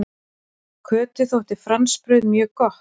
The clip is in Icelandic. Kötu þótti franskbrauð mjög gott.